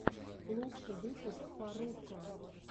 лучший выпуск фарруко